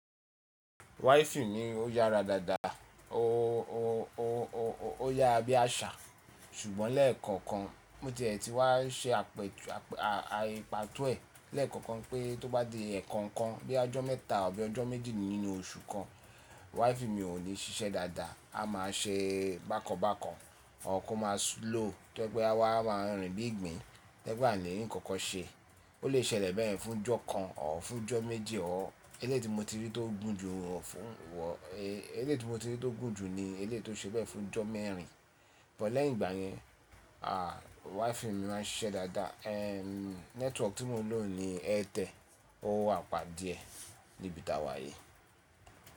Wifii mi ó yára dáadáa, ó, ó, ó, ó yára bí àṣà ṣùgbọ́n lẹ́ẹ̀kọ̀kan bó ti è tí wá ṣe àpè, à, àìpàtó ẹ̀ lẹ́ẹ̀kọ̀kan pé tó bá di ẹ̀ekookan bí i ọjọ́ mẹ́ta àbí ọjọ́ méjì nínú oṣù kan wifii mi ò lè ṣiṣẹ́ dáadáa. A máa ṣe bákan bákan, or kó máa slow tó jẹ́ pé a wáá máa rìn bí ìgbín, tó jẹ́ pé a ní rí kankan ṣe. Ó lè ṣẹlẹ̀ beyen fún ọjọ́ kan or fún ọjọ́ méjì or eléyìí tí mo ti rí tó gùn jù ọ fún wọ̀, eléyìí tí mo ti rí tó gùn jù ni eléyìí tó ṣe bẹ́ẹ̀ fún ọjọ́ mẹ́rin. But lẹ́yìn ìgbà yẹn à wifii mi máa ń ṣiṣẹ́ dáadáa. Ehn network tí mò ń lò ni Airtel ó wàpà díẹ̀ níbi t'àwà yìí.